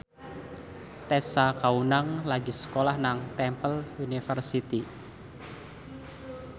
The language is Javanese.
Tessa Kaunang lagi sekolah nang Temple University